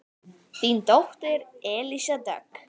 Þín dóttir Elísa Dögg.